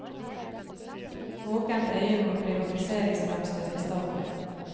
Våkent øye mot privatiseringsfremstøt i staten.